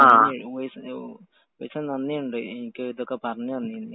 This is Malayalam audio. ഉവൈസേ, നന്ദിയുണ്ട് എനിക്ക് ഇതൊക്കെ പറഞ്ഞുതന്നേനു.